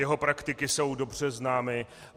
Jeho praktiky jsou dobře známy.